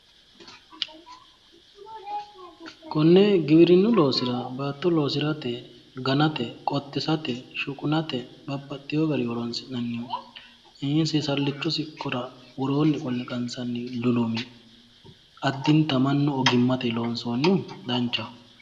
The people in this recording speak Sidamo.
Konne gibirinnu loosira baatto loosira ganate qottisate shuqunate babbaxxeewo garinni horoonsi'nannihu seesallichu siqqora woroonni qolle qansanni lulumi addintanni mannu ogimmatenni loonsohu danchaho.